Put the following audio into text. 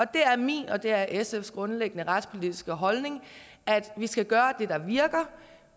det er min og det er sfs grundlæggende retspolitiske holdning at vi skal gøre det der virker